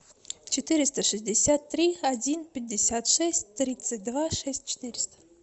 четыреста шестьдесят три один пятьдесят шесть тридцать два шесть четыреста